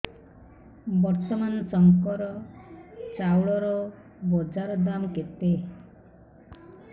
ବର୍ତ୍ତମାନ ଶଙ୍କର ଚାଉଳର ବଜାର ଦାମ୍ କେତେ